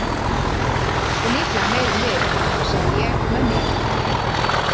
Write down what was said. Og líklega meiri en við, hugsaði ég með mér.